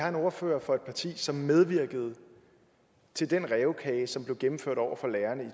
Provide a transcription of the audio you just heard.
en ordfører for et parti som medvirkede til den rævekage som blev gennemført over for lærerne